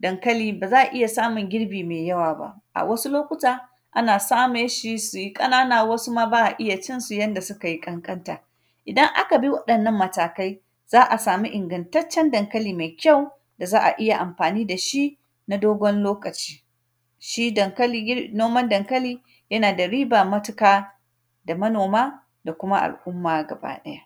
dankali, ba za a iya samun girbi mai yaw aba. A wasu lokuta, ana same shi si yi ƙannana, wasu ma ba a iya cin su yanda sikai ƙanƙanta. Idan aka bi waɗannan matakai, za a sami ingantaccen dankali mai da za a iya amfani da shin a dogon lokaci. Shi dankali gir; noman dankali, yana da riba matika da manoma da kuma al’umma gabaɗaya.